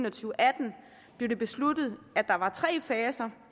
og atten blev det besluttet at der var tre faser